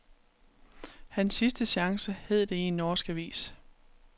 Hans sidste chance, hed det i en norsk avis.